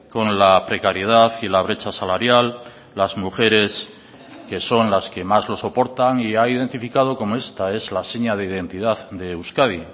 con la precariedad y la brecha salarial las mujeres que son las que más lo soportan y ha identificado como esta es la seña de identidad de euskadi